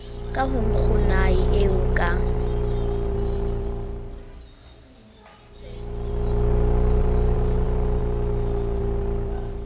ka ho nkgonae eo ka